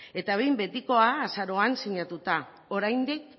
eta behin betikoa azaroan sinatuta oraindik